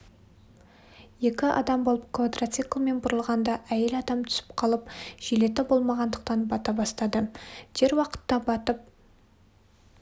екі адам болып квадроциклмен бұрылғанда әйел адам түсіп қалып жилеті болмағандықтан бата бастады дер уақытта батып